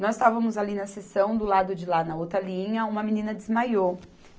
Nós estávamos ali na seção, do lado de lá, na outra linha, uma menina desmaiou.